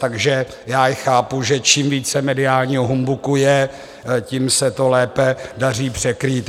Takže já je chápu, že čím více mediálního humbuku je, tím se to lépe daří překrýt.